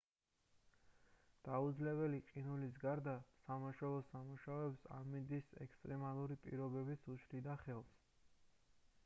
დაუძლეველი ყინულის გარდა სამაშველო სამუშაოებს ამინდის ექსტრემალური პირობებიც უშლიდა ხელს